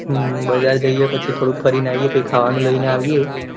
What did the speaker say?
હમ બજાર જઈયે પછી થોડું ફરી ને આયીયે કાયિક ખાવાનું લઇ ને આવીએ.